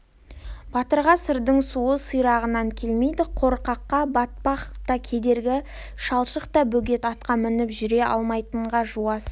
батырға сырдың суы сирағынан келмейді қорқаққа батпақ та кедергі шалшық та бөгет атқа мініп жүре алмайтынға жуас